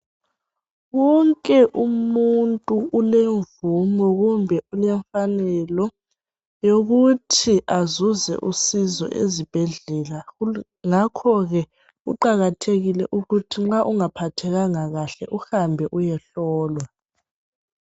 Wonke umuntu ulemvumo kumbe ulemfanelo yokuthi azuze usizo ezibhedlela ngakhoke kuqakathekile ukuthi nxa ungaphathekanga kahle uhambe uyehlolwa.